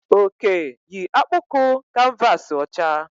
Oke yi akpụkụ kanvasi ọcha